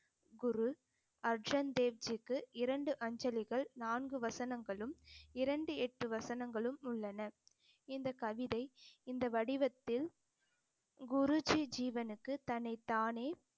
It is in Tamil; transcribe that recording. குரு அர்ஜன் தேவ்ஜிக்கு இரண்டு அஞ்சலிகள் நான்கு வசனங்களும் இரண்டு, எட்டு வசனங்களும் உள்ளன இந்த கவிதை இந்த வடிவத்தில் குருஜி ஜீவனுக்கு தன்னைத்தானே